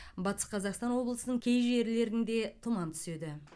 батыс қазақстан облысының кей жерлерінде тұман түседі